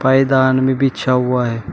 पायदान भी बिछा हुआ है।